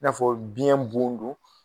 N'a fɔ biyɛn bon don